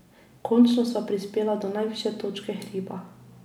Končno sva prispela do najvišje točke hriba.